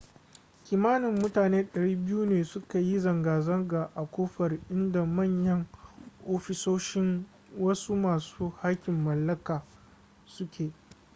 kimanin mutane 200 ne suka yi zanga-zanga a kofar inda manyan ofisoshin wasu masu haƙƙin mallaka su ke